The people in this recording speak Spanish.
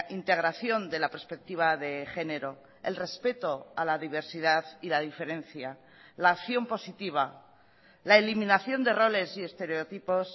integración de la perspectiva de género el respeto a la diversidad y la diferencia la acción positiva la eliminación de roles y estereotipos